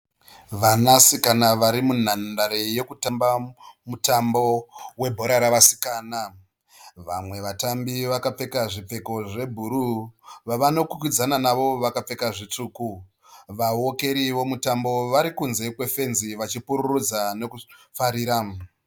Vanasikana vari munhandare yekutamba mutambo webhora revasikana vamwe vatambi vakapfeka zvipfeko zvebhuruu vavanokwikwidzana navo vakapfeka zvitsvuku vaokeri vemutambo vari kunze kwefenzi vachipururrudza nekufarira.